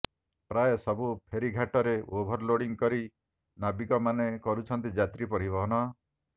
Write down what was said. ପ୍ରାୟ ସବୁ ଫେରୀଘାଟରେ ଓଭରଲୋଡ଼ିଂ କରି ନାବିକ ମାନେ କରୁଛନ୍ତି ଯାତ୍ରୀ ପରିବହନ